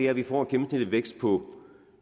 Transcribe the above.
at vi får en gennemsnitlig vækst på